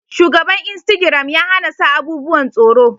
Shugaban insitagiram ya hana sa abubuwan tsoro